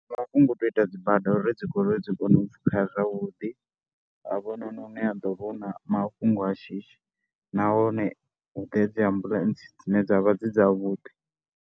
Ndi mafhungo a u tou ita dzi bada uri dzi goloi dzi kone u pfhukha zwavhuḓi, hafhanoni hune ha ḓo vha hu na mafhungo a shishi nahone hu ḓe dzi ambuḽentse dzine dza vha dzi dzavhuḓi.